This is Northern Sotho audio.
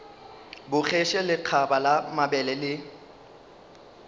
bogetše lekgaba la mabele le